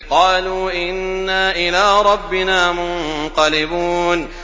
قَالُوا إِنَّا إِلَىٰ رَبِّنَا مُنقَلِبُونَ